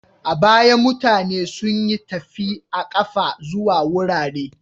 A baya, mutane sun yi tafi a ƙafa zuwa wurare.